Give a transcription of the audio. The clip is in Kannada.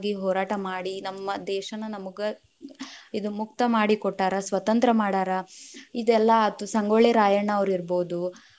ಹೋರಾಟ ಮಾಡಿ ನಮ್ಮ ದೇಶಾನ ನಮ್ಗ ಇದ್‌ ಮುಕ್ತ ಮಾಡಿ ಕೊಟ್ಟಾರ, ಸ್ವತಂತ್ರ ಮಾಡ್ಯಾರ, ಇದೆಲ್ಲಾ ಆತು ಸಂಗೋಳ್ಳಿ ರಾಯಣ್ಣ ‌ಇರ್ಬೋದು .